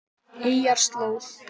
Eyjarslóð